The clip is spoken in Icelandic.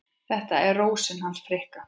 Þetta er Rósin hans Fikka.